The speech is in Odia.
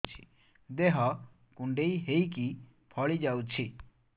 ଦେହ କୁଣ୍ଡେଇ ହେଇକି ଫଳି ଯାଉଛି